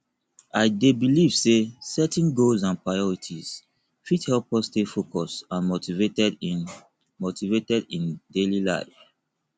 i dey believe say setting goals and priorities fit help us stay focused and motivated in motivated in daily life